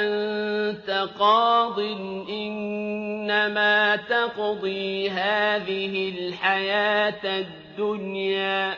أَنتَ قَاضٍ ۖ إِنَّمَا تَقْضِي هَٰذِهِ الْحَيَاةَ الدُّنْيَا